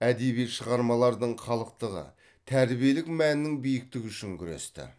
әдеби шығармалардың халықтығы тәрбиелік мәнінің биіктігі үшін күресті